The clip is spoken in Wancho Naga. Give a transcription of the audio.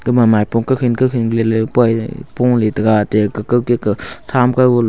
mama epong ka khen ku khenkilele puai pu le taga ga ga gika thaam kavo le.